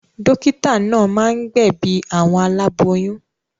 Dọ́kítá náà máa ń gbẹ̀bi àwọn aláboyún.